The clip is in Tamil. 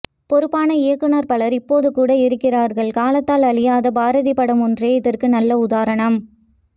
பொறுப்பான இயக்குநர் பலர் இப்போது கூட இருக்கிறார்கள் காலத்தால் அழியாத பாரதி படம் ஒன்றே இதற்கு நல்ல உதாரணம்